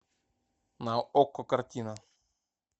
на окко картина